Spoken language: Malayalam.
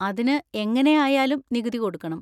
അതിന് എങ്ങനെ ആയാലും നികുതി കൊടുക്കണം.